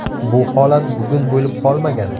Bu holat bugun bo‘lib qolmagan.